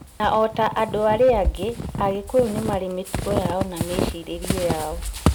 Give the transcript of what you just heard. Na ota andũ arĩa angĩ, agĩkũyũ nĩmarĩ mĩtugo yao na mĩĩcirĩrie yao